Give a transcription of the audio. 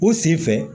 U sen fɛ